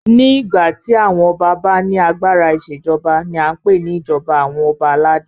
Ní ìgbà tí àwọn ọba bá ní agbára ìṣèjọba ní a n pé ní ìjọba àwọn ọba aládé.